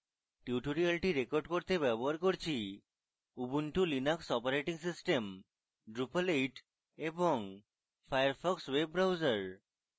tutorial record করতে ব্যবহার করছি Ubuntu Linux operating system drupal 8 এবং ফায়ারফক্স ওয়েব ব্রাউজার